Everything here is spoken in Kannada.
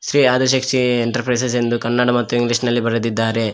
ಶ್ರೀ ಆದಿಶಕ್ತಿ ಎಂಟರ್ಪ್ರೈಸಸ್ ಎಂದು ಕನ್ನಡ ಮತ್ತು ಇಂಗ್ಲಿಷ್ ನಲ್ಲಿ ಬರೆದಿದ್ದಾರೆ.